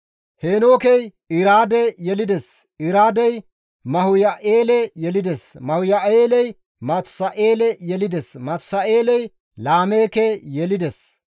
Heenookey Iraade yelides; Iraadey Mahuyaa7eele yelides; Mahuyaa7eeley Matusa7eele yelides; Matusa7eeley Laameeke yelides.